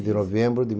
de novembro de